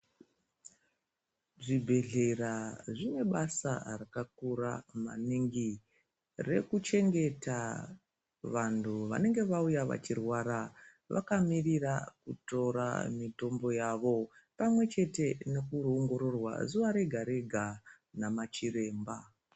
Zvibhedhlera zvinebasa rakakura maningi rekuchengeta vantu vanenge vauya vachirwara vakamirira kutora mitombo yavo pamwechete nekundoongororwa zuva rega-rega nemachiremba.